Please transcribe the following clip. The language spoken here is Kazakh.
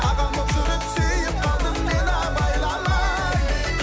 ағаң болып жүріп сүйіп қалдым мен абайламай